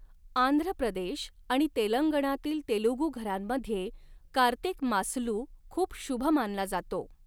आंध्र प्रदेश आणि तेलंगणातील तेलुगू घरांमध्ये कार्तिक मासलू खूप शुभ मानला जातो.